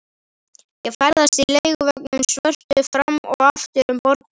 Ég ferðast í leiguvögnunum svörtu fram og aftur um borgina.